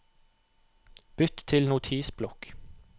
Bytt til Notisblokk